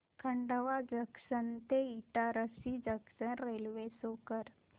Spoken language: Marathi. खंडवा जंक्शन ते इटारसी जंक्शन रेल्वे शो कर